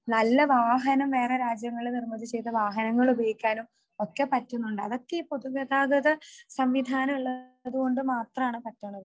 നല്ല വാഹനം വേറെ രാജ്യങ്ങളിൽ നിർമിതി ചെയ്ത വനങ്ങൾ ഉപയോഗിക്കാനും ഒക്കെ പറ്റുന്നുണ്ട് അതൊക്കെ പൊതുഗതാഗത സംവിധാനം ഉള്ളതുകൊണ്ട് മാത്രമാണ് പറ്റുന്നത്